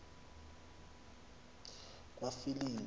kwafilingi